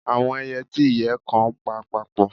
Awọn ẹiyẹ ti iyẹ kan npa papọ.